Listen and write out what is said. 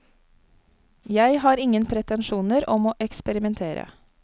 Jeg har ingen pretensjoner om å eksperimentere.